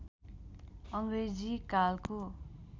अङ्ग्रेजी कालको